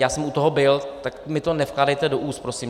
Já jsem u toho byl, tak mi to nevkládejte do úst prosím!